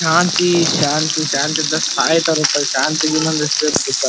ಶಾಂತಿ Shanti Shanti plus ಸಾಹಿತ್ ರೂಪದಲ್ಲಿ ಶಾಂತಿ ಇನ್ನೊಂದು ಹೆಸ್ರ್ ಏನ್ ಗೊತ್ತಾ.